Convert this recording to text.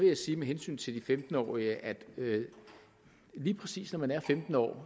jeg sige med hensyn til de femten årige at lige præcis når man er femten år